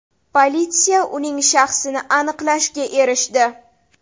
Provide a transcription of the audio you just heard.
Politsiya uning shaxsini aniqlashga erishdi.